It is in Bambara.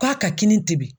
K'a ka kini temin